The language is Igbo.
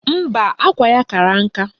Mba, akwa ya kara nka